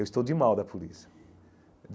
Eu estou de mal da polícia.